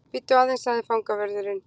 Bíddu aðeins sagði fangavörðurinn.